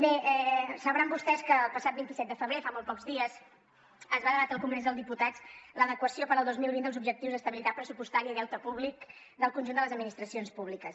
bé deuen saber vostès que el passat vint set de febrer fa molt pocs dies es va debatre al congrés dels diputats l’adequació per al dos mil vint dels objectius d’estabilitat pressupostària i deute públic del conjunt de les administracions públiques